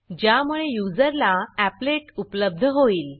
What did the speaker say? ज्यामुळे युजरला appletअपलेट उपलब्ध होईल